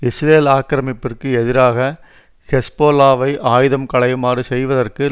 Israel ஆக்கிரமிப்பிற்கு எதிராக ஹெஸ்போலாவை ஆயுதம் களையுமாறு செய்வதற்கு